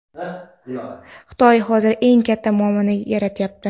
Xitoy hozir eng katta muammoni yaratyapti.